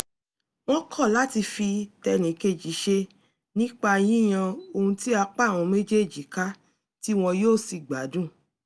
wọ́n kọ́ láti fi tẹnìkejì ṣe nípa yíyan ohun tí apá àwọn méjèèjí ká tí won yóò sì gbádùn